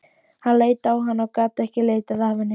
Hann leit á hana og gat ekki litið af henni.